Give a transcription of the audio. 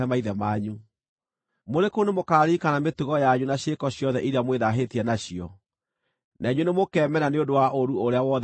Mũrĩ kũu nĩmũkaririkana mĩtugo yanyu na ciĩko ciothe iria mwĩthaahĩtie nacio, na inyuĩ nĩmũkeemena nĩ ũndũ wa ũũru ũrĩa wothe mwaneeka.